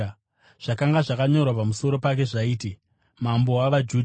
Zvakanga zvakanyorwa pamusoro pake zvaiti: mambo wavajudha .